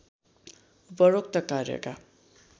उपरोक्त कार्यका